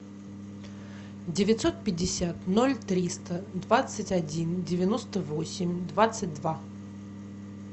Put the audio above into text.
девятьсот пятьдесят ноль триста двадцать один девяносто восемь двадцать два